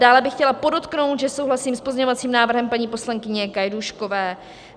Dále bych chtěla podotknout, že souhlasím s pozměňovacím návrhem paní poslankyně Gajdůškové.